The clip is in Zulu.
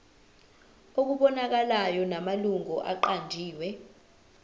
okubonakalayo namalungu aqanjiwe